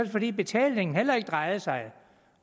fordi betalingen heller ikke drejede sig